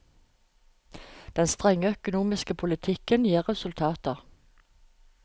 Den strenge økonomiske politikken gir resultater.